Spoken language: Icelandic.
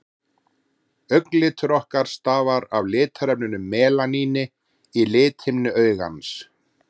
augnlitur okkar stafar af litarefninu melaníni í lithimnu augans